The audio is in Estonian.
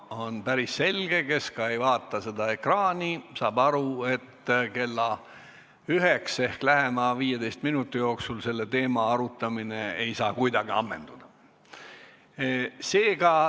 On päris selge – kes seda ekraani ka ei vaata, saab aru –, et kella üheks ehk lähema 15 minuti jooksul ei saa selle teema arutamine kuidagi ammenduda.